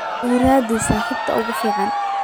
ii raadi saaxiibta ugu fiican